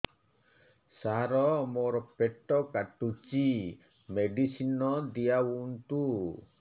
ସାର ମୋର ପେଟ କାଟୁଚି ମେଡିସିନ ଦିଆଉନ୍ତୁ